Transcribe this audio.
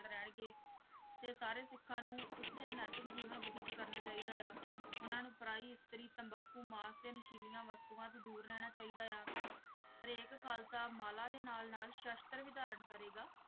ਰਹਿਣਗੇ ਤੇ ਸਾਰੇ ਸਿੱਖਾਂ ਨੂੰ ਉੱਚ ਨੈਤਿਕ ਜੀਵਨ ਬਤੀਤ ਕਰਨਾ ਚਾਹੀਦਾ ਹੈ ਉਹਨਾਂ ਨੂੰ ਪਰਾਈ ਇਸਤਰੀ ਤੰਬਾਕੂ ਮਾਸ ਤੇ ਨਸ਼ੀਲੀਆਂ ਵਸਤੂਆਂ ਤੋਂ ਦੂਰ ਰਹਿਣਾ ਚਾਹੀਦਾ ਆ ਹਰੇਕ ਖ਼ਾਲਸਾ ਮਾਲਾ ਦੇ ਨਾਲ-ਨਾਲ ਸ਼ਸ਼ਤਰ ਵੀ ਧਾਰਨ ਕਰੇਗਾ।